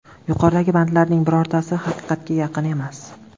Yuqoridagi bandlarning birortasi haqiqatga yaqin emas.